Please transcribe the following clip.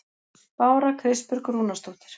Bára Kristbjörg Rúnarsdóttir